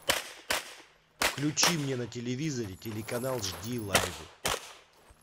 включи мне на телевизоре телеканал жди лайв